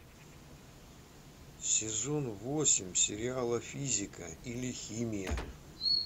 сезон восемь сериала физика или химия